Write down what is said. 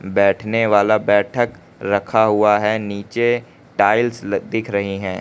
बैठने वाला बैठक रखा हुआ है नीचे टाइल्स लग दिख रहीं है।